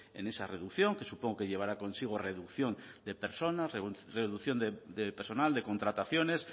en esa reducción que supongo que llevará consigo reducción de personas reducción de personal de contrataciones